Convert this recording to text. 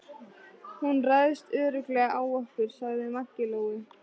Hún ræðst örugglega á okkur, sagði Maggi Lóu.